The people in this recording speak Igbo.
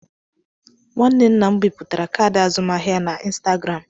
Nwanne nna m biputere kaadị azụmahịa ya na ịnstagram.